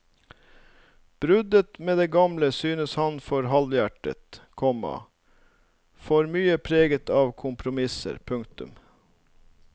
Bruddet med det gamle syntes ham for halvhjertet, komma for mye preget av kompromisser. punktum